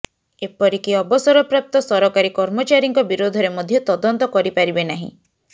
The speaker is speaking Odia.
ଏପରିକି ଅବସରପ୍ରାପ୍ତ ସରକାରୀ କର୍ମଚାରୀଙ୍କ ବିରୋଧରେ ମଧ୍ୟ ତଦନ୍ତ କରିପାରିବେ ନାହିଁ